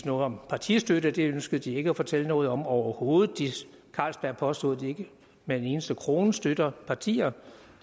noget om partistøtte det ønskede de ikke at fortælle noget om overhovedet carlsberg påstod at de ikke med en eneste krone støtter partier